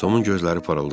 Tomun gözləri parıldadı.